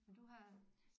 Men du har